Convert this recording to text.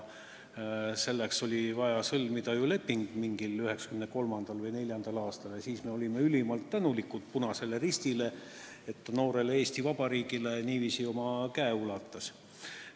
Selleks oli vaja sõlmida leping 1993. või 1994. aastal ja siis me olime ülimalt tänulikud Punasele Ristile, et ta noorele Eesti Vabariigile käe ulatas.